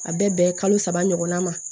A bɛ bɛn kalo saba ɲɔgɔnna ma